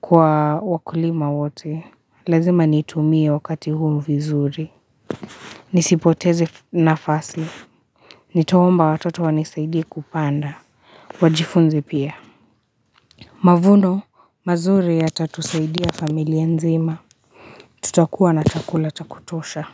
Kwa wakulima wote Lazima nitumie wakati huu mvizuri Nisipoteze nafasi Nitaomba watoto wanisaidi kupanda Wajifunze pia Mavuno mazuri ya tatusaidia familia nzima Tutakuwa na chakula takutosha.